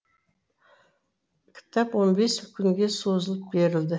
кітап он бес күнге созылып берілді